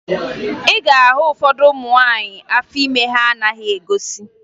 Ị ga-ahụ ụfọdụ ụmụ nwaanyị afọ ime ha na-anaghị egosi